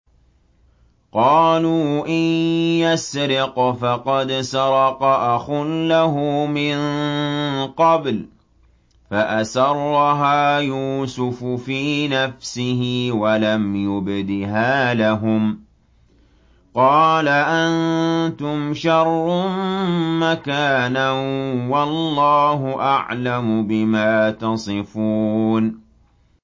۞ قَالُوا إِن يَسْرِقْ فَقَدْ سَرَقَ أَخٌ لَّهُ مِن قَبْلُ ۚ فَأَسَرَّهَا يُوسُفُ فِي نَفْسِهِ وَلَمْ يُبْدِهَا لَهُمْ ۚ قَالَ أَنتُمْ شَرٌّ مَّكَانًا ۖ وَاللَّهُ أَعْلَمُ بِمَا تَصِفُونَ